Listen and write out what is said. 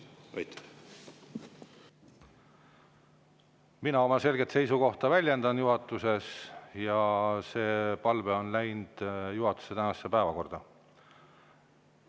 Mina väljendan juhatuses oma selget seisukohta ja see palve on läinud juhatuse tänasesse päevakorda.